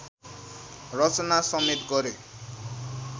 रचना समेत गरे